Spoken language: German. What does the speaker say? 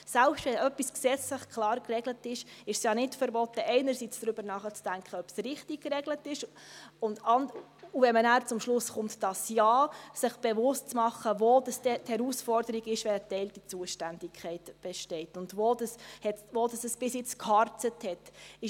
Selbst wenn etwas gesetzlich klar geregelt ist, ist es ja nicht verboten, einerseits darüber nachzudenken, ob es richtig geregelt ist, und wenn man nachher zum Schluss kommt, dass Ja, sich bewusst zu machen, wo dann die Herausforderung ist, wenn eine geteilte Zuständigkeit besteht und wo es bisher geharzt hat.